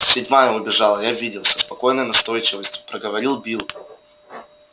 седьмая убежала я видел со спокойной настойчивостью проговорил билл